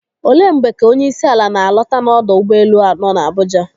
Olee mgbe ka onyeisiala na-alọta n'ọdọ ụgbọelu nọ n'Abuja?